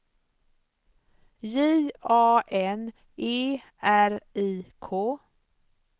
J A N E R I K